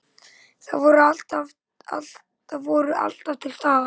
Þau voru alltaf til staðar.